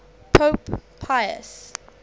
pope pius